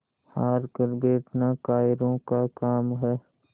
हार कर बैठना कायरों का काम है